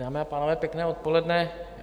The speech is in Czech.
Dámy a pánové, pěkné odpoledne.